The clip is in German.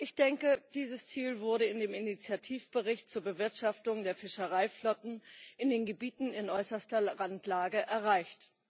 Ich denke, dieses Ziel wurde in dem Initiativbericht zur Bewirtschaftung der Fischereiflotten in den Gebieten in äußerster Randlage erreicht.